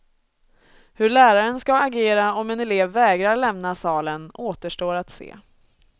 Hur läraren skall agera om en elev vägrar lämna salen återstår att se.